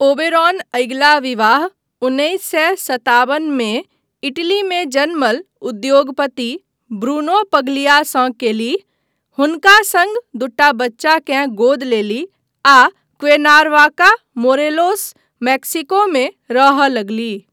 Oberon अगिला विवाह उन्नैस सए सताबन मे इटलीमे जन्मल उद्योगपति ब्रूनो पग्लियासँ कयलीह, हुनका सङ्ग दूटा बच्चाकेँ गोद लेलीह आ क्वेर्नावाका, मोरेलोस, मेक्सिकोमे रहय लगलीह।